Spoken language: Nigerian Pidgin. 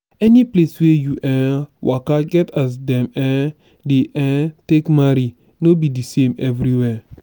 any place wey you um waka get as dem um dey um take marry no be de same everywhere.